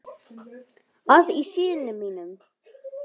að í syni mínum